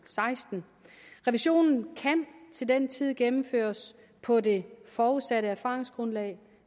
seksten revisionen kan til den tid gennemføres på det forudsatte erfaringsgrundlag